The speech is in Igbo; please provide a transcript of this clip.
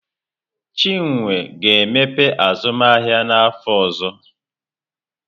Chinwe ga-emepe azụmahịa n'afọ ọzọ.